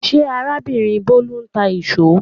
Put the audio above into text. Ṣé arábìnrin Bolu ń tà íṣo?